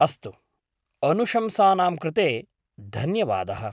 अस्तु, अनुशंसानां कृते धन्वयादः!